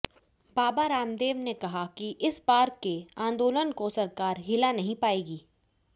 बाबा रामदेव ने कहा कि इस बार के आंदोलन को सरकार हिला नहीं पाएगी